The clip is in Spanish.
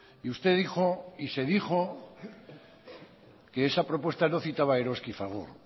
y usted dijo y se dijo que esa propuesta no citaba a eroski y fagor